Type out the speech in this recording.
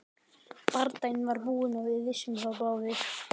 Bardaginn var búinn og við vissum það báðir.